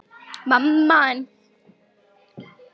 Hemmi grípur um höfuð sér.